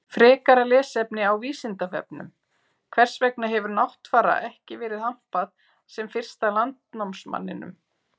Frekara lesefni á Vísindavefnum: Hvers vegna hefur Náttfara ekki verið hampað sem fyrsta landnámsmanninum?